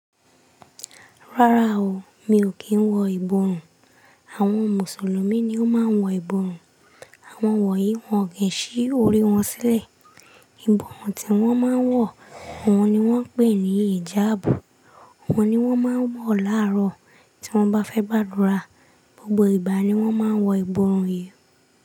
Rárá o, mi ò kí ń wọ ìborùn. Àwọn Mùsùlùmí ni ó máa ń wọ ìborùn. Àwọn wọ̀ yìí wọn kin sí orí wọn sílẹ̀. Ìborùn tí wọ́n máa ń wọ̀, òun ni wọ́n ń pè ní hìjábù. Òun ni wọ́n máa ń wọ̀ láàárọ̀ tí wọ́n bá fẹ́ gbàdúrà. Gbogbo ìgbà ni wọ́n máa ń wọ ìborùn yìí.